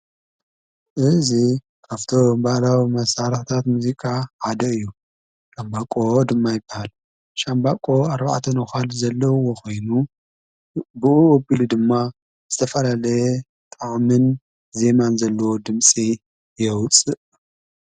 እዙ ኣፍቶ እምበላዊ መሣራህታት ሙዚቃ ሓደ እዩ ካምባቆ ድማ ይበሃል ሻምባቆ ኣርባዕተን ኖዃል ዘለዉዎ ኾይኑ ብኡ ኣቢሉ ድማ ዝተፈረለየ ጣዕምን ዜማን ዘለዎ ድምፂ የውፅእ።